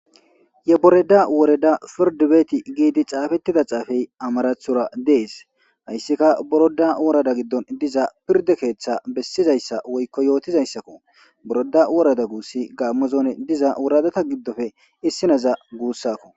ye boreda woreda firdubeeti giidi caafettida xaafey amarathora dees hayssikka boroda worada giddon diza pirde keeththa bessizayssa woykko yootizayssakko boroda worada guussi gaammozone diza wuradata giddofe issinaza guussakko